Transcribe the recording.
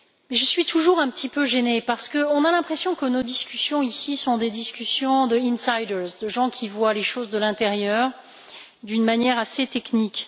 Je suis toujours un peu gênée parce qu'on a l'impression que nos discussions, ici, sont des discussions d' insiders de gens qui voient les choses de l'intérieur d'une manière assez technique.